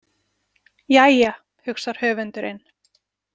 Jæja, hugsar höfundurinn.